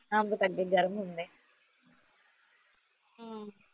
ਅੰਬ ਤਾ ਅੱਗੇ ਗਰਮ ਹੁੰਦੇ